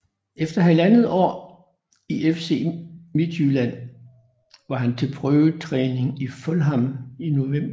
Efter halvandet år i FC Midtjylland var han til prøvetræning i Fulham i november 2011